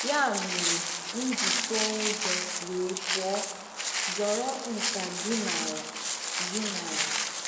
Ya mere, m ji tụọ ụjọ wee pụọ, zoro nkà gị n’ala. gị n’ala.